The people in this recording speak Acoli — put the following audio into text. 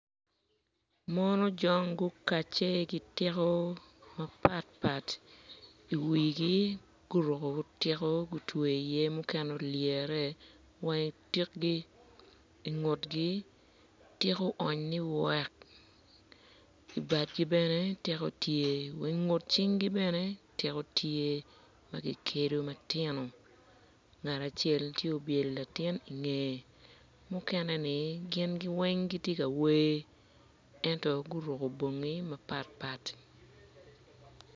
Mon ojong gukacce ki tiko mapatpat guruko tiko i wigi mukene gutweyo ipyegi i tikgi wa i pyegi tiko oony ni wek wa i tyen gi tiko tye wai tyengi ben etiko tye.